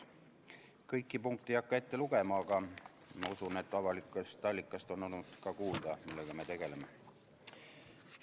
Kõiki punkte ei hakka ette lugema, aga ma usun, et avalikest allikatest on olnud ka kuulda, millega me tegeleme.